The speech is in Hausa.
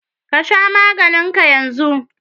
Ka sha maganin ka yanzu!